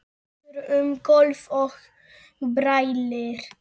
Gengur um gólf og brælir.